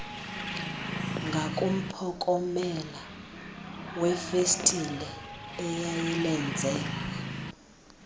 ngakumphokomela wefestile eyayilenze